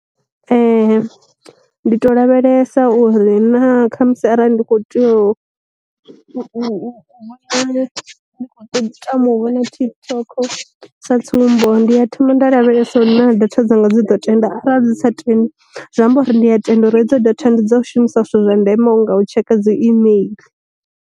Ndi to lavhelesa uri na khamusi arali ndi kho tea u to tama u vhona tik toko sa tsumbo, ndi ya thoma nda lavhelesa uri na datha dzanga dzi ḓo tenda arali dzi sa tendi zwi amba uri ndi a tenda uri hedzo datha ndi dza u shumisa zwithu zwa ndeme nga u tsheka dzi email.